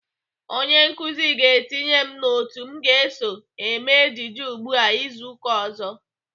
Onye nkụzi ga-etinye m n'otu m ga-eso eme ejije ugbu a izu uka ọzọ.